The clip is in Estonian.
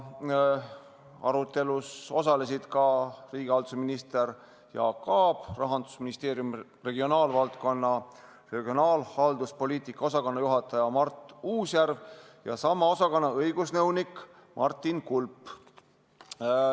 Arutelus osalesid ka riigihalduse minister Jaak Aab, Rahandusministeeriumi regionaalvaldkonna regionaalhalduspoliitika osakonna juhataja Mart Uusjärv ja sama osakonna õigusnõunik Martin Kulp.